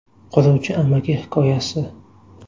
Quruvchi amaki hikoyasi.